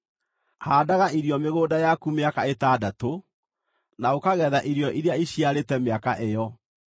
“Haandaga irio mĩgũnda yaku mĩaka ĩtandatũ, na ũkagetha irio iria iciarĩte mĩaka ĩyo,